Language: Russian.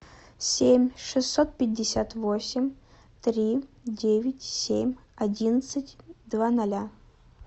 семь шестьсот пятьдесят восемь три девять семь одиннадцать два ноля